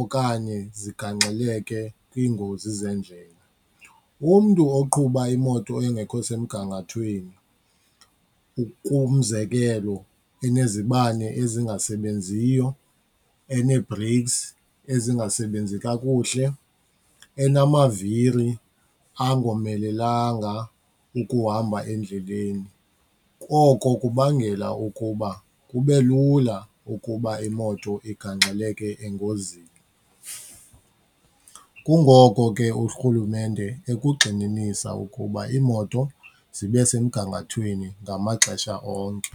okanye zigangxeleke kwiingozi zeendlela. Umntu oqhuba imoto engekho semgangathweni ukuba, umzekelo inezibane ezingasebenziyo, enee-breaks ezingasebenzi kakuhle, enamaviri angomelelanga ukuhamba endleleni, koko kubangela ukuba kube lula ukuba imoto igangxeleke engozini. Kungoko ke urhulumente ekugxininisa ukuba iimoto zibe semgangathweni ngamaxesha onke.